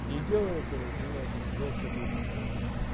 не делай этого меня это жёстко бесит просто